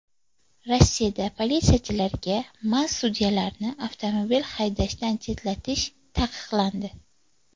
Rossiyada politsiyachilarga mast sudyalarni avtomobil haydashdan chetlatish taqiqlandi.